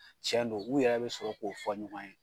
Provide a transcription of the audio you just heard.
Cɛn don u yɛrɛ bɛ sɔrɔ k'o fɔ ɲɔgɔn ye.